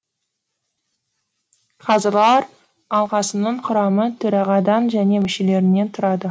қазылар алқасының құрамы төрағадан және мүшелерінен тұрады